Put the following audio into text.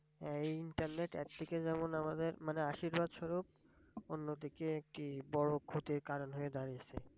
আহ এই internet একদিকে যেমন আমাদের মানে আশির্বাদ স্বরূপ অন্যদিকে একটি বড় ক্ষতির কারন হয়ে দাঁড়িয়েছে।